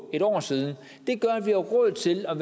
et år siden gør at vi har råd til at